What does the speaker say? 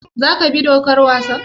Za ka bi dokar wasan?